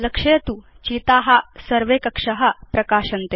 लक्षयतु चिता सर्वे कक्षा प्रकाशन्ते